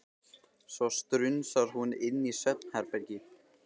Svo strunsar hún inn í svefnherbergi.